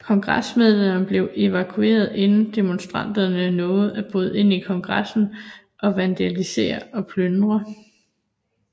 Kongresmedlemmerne blev evakueret inden demonstranterne nåede at bryde ind i Kongressen og vandalisere og plyndre